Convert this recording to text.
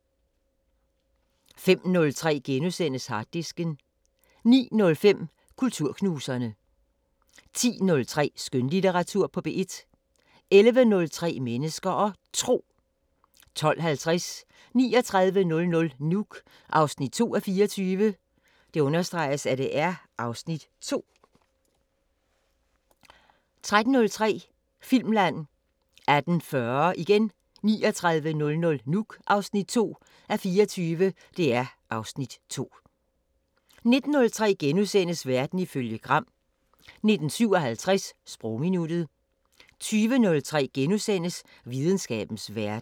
05:03: Harddisken * 09:05: Kulturknuserne 10:03: Skønlitteratur på P1 11:03: Mennesker og Tro 12:50: 3900 Nuuk 2:24 (Afs. 2) 13:03: Filmland 18:40: 3900 Nuuk (2:24) (Afs. 2) 19:03: Verden ifølge Gram * 19:57: Sprogminuttet 20:03: Videnskabens Verden *